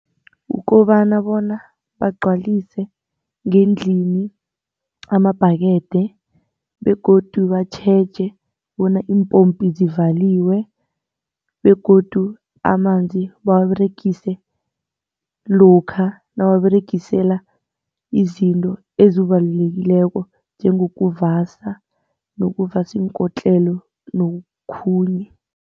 Kukobana bona bagcwalise ngendlini amabhakede begodu batjheje bona iimpompi zivaliwe begodu amanzi bawaberegise lokha nabawaberegisela izinto ezibalulekileko njengokuvasa nokuvasa iinkotlelo nokhunye.